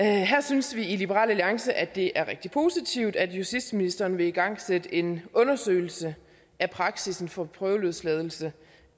her synes vi i liberal alliance at det er rigtig positivt at justitsministeren vil igangsætte en undersøgelse af praksis for prøveløsladelse